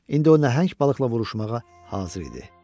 İndi o nəhəng balıqla vuruşmağa hazır idi.